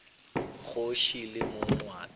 kgoši le mong wa ka